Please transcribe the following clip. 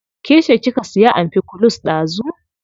Ke ce kika siya amfikulus dazu.